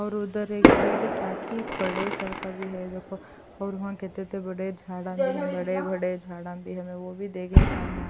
اور دوسری طرف کچھ سر بھی کھڑے ہیں، وہاں دیکھیں اور بہت سے بڑے درخت ہیں وہاں بڑے درخت بھی ہیں، وہ بھی یہاں دیکھے جا ہیں۔.